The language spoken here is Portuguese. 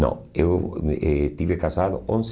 Não, eu me estive casado onze